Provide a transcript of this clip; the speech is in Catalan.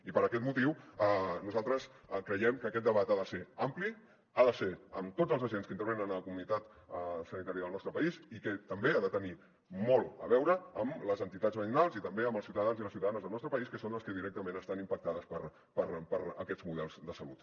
i per aquest motiu nosaltres creiem que aquest debat ha de ser ampli ha de ser amb tots els agents que intervenen a la comunitat sanitària del nostre país i que també ha de tenir molt a veure amb les entitats veïnals i també amb els ciutadans i les ciutadanes del nostre país que són els que directament estan impactades per aquests models de salut